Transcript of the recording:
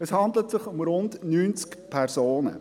Es handelt sich um rund 90 Personen.